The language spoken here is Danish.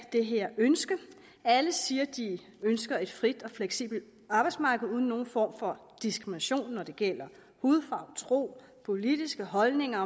det her ønske alle siger at de ønsker et frit og fleksibelt arbejdsmarked uden nogen form for diskrimination når det gælder hudfarve tro politiske holdninger